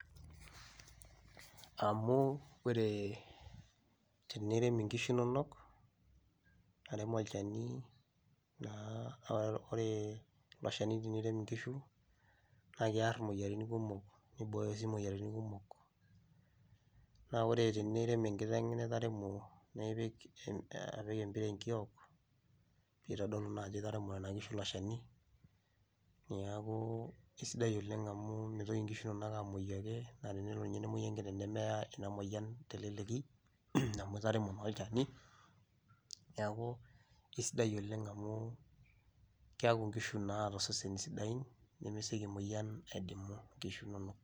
Because when you inject your cows it helps to prevent diseases and once that tag is in your cows it won't die whenever the disease comes.